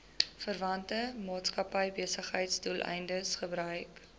verwante maatskappybesigheidsdoeleindes gebruik